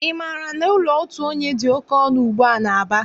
Ị maara na ụlọ otu onye dị oké ọnụ ugbua n'Aba?